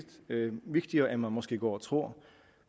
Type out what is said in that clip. vigtigere end man måske går og tror